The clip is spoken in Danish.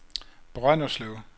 Brønderslev